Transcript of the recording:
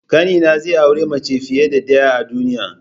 Ƙanina zai auri mace fiye da ɗaya a duniya.